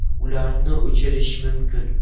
Ularni o‘chirish mumkin.